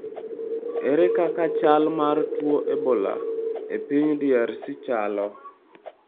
Ere kaka chal mar tuo mar Ebola e piny DRC chalo?